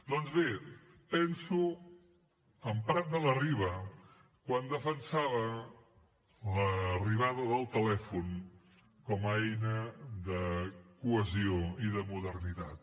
doncs bé penso en prat de la riba quan defensava l’arribada del telèfon com a eina de cohesió i de modernitat